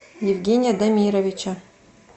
евгения дамировича